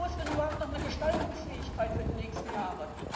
Wo ist denn überhaupt noch eine Gestaltungsfähigkeit für die nächsten Jahre?